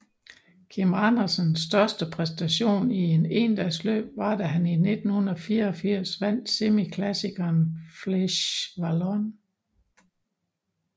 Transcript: Kim Andersens største præstation i et endagsløb var da han i 1984 vandt semiklassikeren Flèche Wallonne